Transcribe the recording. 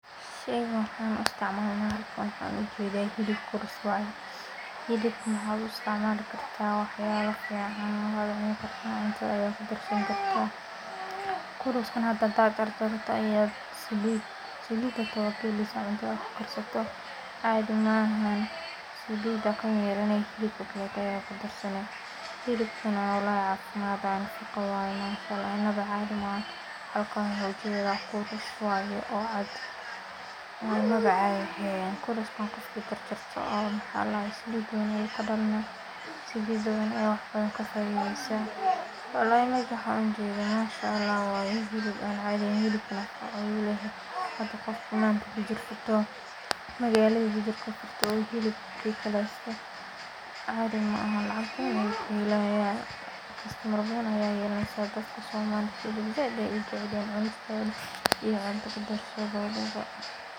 Shegan waxaa u istxmaalan waa hilib kurus waaye kurus ka nahw axaa loo isticmaali karaa waxyaabo badan, inta jararto ayaa cuntada kudarsan hilibkan walahi cafimaad waye , kurus waaye oo cad kurustan ninki karkarsado, oo maxaa ladahaye oo salid ka hagaajiyo salidd badan ayaa laga faidaa walahi meshan waxaan ujeda hilboo caadi aheen hada waxaa isdahaa inaa bujur furto oo hilib kugato caadi maahan lacag badan ayaa lagaa helaayaa dadka somalida nah zaid bay ujecelyihin in hilib cunta lagu darsado